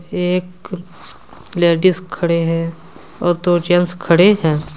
एक लेडिस खड़े हैं और दो जेंट्स खड़े हैं।